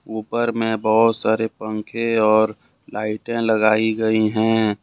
ऊपर में बहोत सारे पंखे और लाइटें लगाई गई हैं।